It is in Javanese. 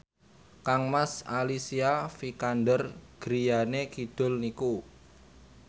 kangmas Alicia Vikander griyane kidul niku